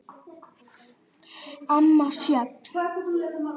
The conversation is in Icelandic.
Amma Sjöfn.